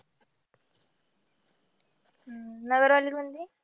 नगर वाली म्हणजे?